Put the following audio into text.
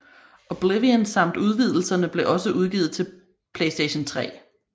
Oblivion samt udvidelserne blev også udgivet til PS3